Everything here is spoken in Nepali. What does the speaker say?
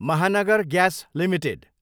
Mahanagar Gas Ltd